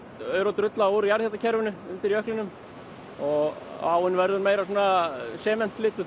aur og drulla úr jarðhitakerfinu undir jöklinum og áin verður meira